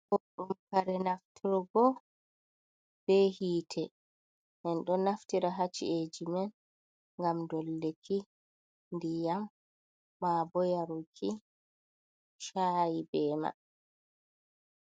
Boɗɗum kare nafturgo bee hiite, en ɗo naftira ha ci’eeji men ngam dolluki ndiyam maa bo yaruki caayi bee man.